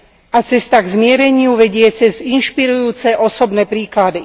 A cesta k zmiereniu vedie cez inšpirujúce osobné príklady.